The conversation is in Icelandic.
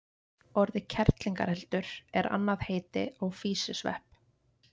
Orðið kerlingareldur er annað heiti á físisvepp.